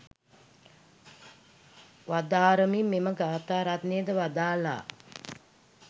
වදාරමින් මෙම ගාථා රත්නයද වදාළා.